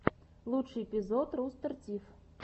лучший эпизод рустер тиф